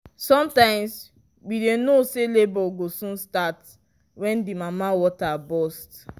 sometimes we dy know say labour go soon start when the mama water burst